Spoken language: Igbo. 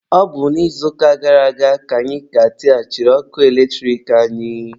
Ọ bụ n'izuụka gara aga ka anyị ka tighachiri ọkụ eletrik anyị